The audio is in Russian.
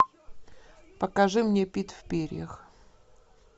покажи мне пит в перьях